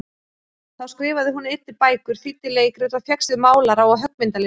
Þá skrifaði hún einnig bækur, þýddi leikrit, og fékkst við málara- og höggmyndalist.